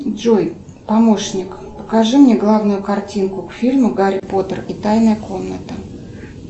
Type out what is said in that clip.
джой помощник покажи мне главную картинку к фильму гарри поттер и тайная комната